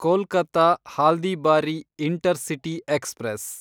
Kolkata Haldibari intercity express